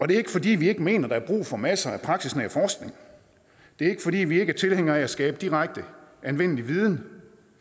det er ikke fordi vi ikke mener der er brug for masser af praksisnær forskning det er ikke fordi vi ikke er tilhængere af at skabe direkte anvendelig viden